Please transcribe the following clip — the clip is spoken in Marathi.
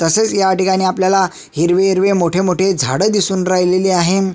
तसेच ह्या ठिकाणी आपल्याला हिरवे हिरवे मोठे मोठे झाड दिसून राहिले आहे.